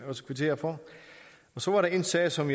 også kvittere for så er der en sag som